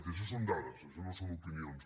i això són dades això no són opinions